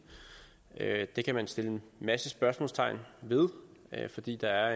det kan man sætte en masse spørgsmålstegn ved fordi der